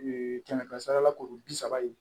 kɛmɛ kɛmɛ sara la kuru bi saba ye